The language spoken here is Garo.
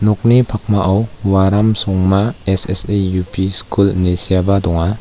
nokni pakmao waram songma S_S_A U_P skul ine seaba donga.